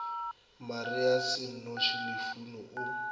maria se nnoši lufuno o